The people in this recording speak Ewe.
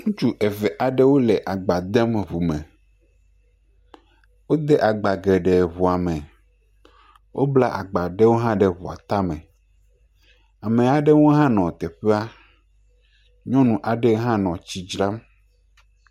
Ŋutsu eve aɖewo le agba dem ŋume, wode agbe geɖewo ŋume. Wobla agba ɖewo hã ɖe ŋua tame. Ame aɖewo hã nɔ teƒea. Nyɔnu aɖe hã nɔ tsi dzram.